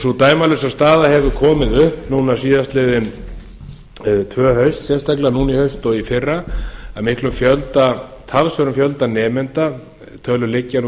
sú dæmalausa staða hefur komið upp núna síðastliðin tvö haust sérstaklega núna í haust og í fyrra að talsverðum fjölda nemendanda tölur liggja nú